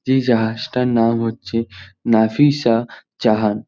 যেই জাহাজটার নাম হচ্ছে নাফিসা জাহাজ।